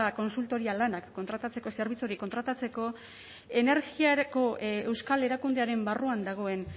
kontsultoria lanak kontratatzeko zerbitzu hori kontratatzeko energiarako euskal erakundearen barruan dagoen